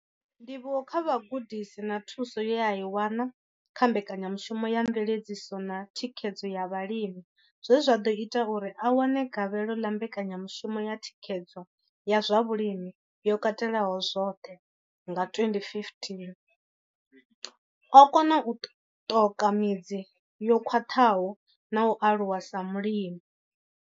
Ndivhuwo kha vhugudisi na thuso ye a i wana kha mbekanyamushumo ya mveledziso na thikhedzo ya vhalimi zwe zwa ḓo ita uri a wane gavhelo ḽa mbekanyamushumo ya thikhedzo ya zwa Vhulimi yo Katelaho zwoṱhe CASP nga 2015, o kona u ṱoka midzi yo khwaṱhaho na u aluwa sa mulimi.